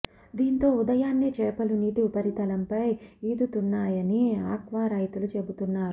దీంతో ఉదయాన్నే చేపలు నీటి ఉపరితలంపై ఈదుతున్నాయని ఆక్వా రైతులు చెబుతున్నారు